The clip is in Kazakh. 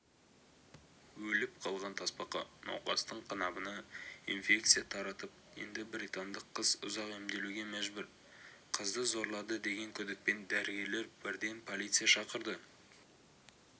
өліп қалған тасбақа науқастың қынабына инфекция таратып енді британдық қыз ұзақ емделуге мәжбүр қызды зорлады деген күдікпен дәрігерлер бірден полиция шақырды